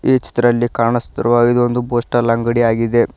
ಈ ಚಿತ್ರದಲ್ಲಿ ಕಾಣಿಸುತ್ತಿರುವ ಹಾಗೆ ಇದೊಂದು ಪೋಸ್ಟಲ್ ಅಂಗಡಿ ಆಗಿದೆ.